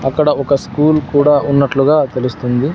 అక్కడ ఒక స్కూల్ కూడా ఉన్నట్లుగా తెలుస్తుంది.